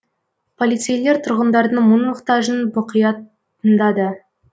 полицейлер тұрғындардың мұқ мұқтажын мұқият тыңдады